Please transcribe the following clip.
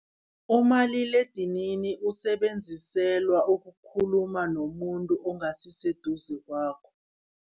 Umaliledinini usebenziselwa ukukhuluma nomuntu ongasi seduze kwakho.